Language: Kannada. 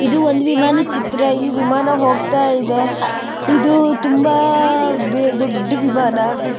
ಇದು ಒಂದು ವಿಮಾನದ ಚಿತ್ರ. ಇಲ್ಲಿ ವಿಮಾನ ಹೋಗ್ತಾ ಇದೆ. ಇದು ತುಂಬಾ ದೊಡ್ಡ ವಿಮಾನ.